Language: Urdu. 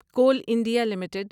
cool India limited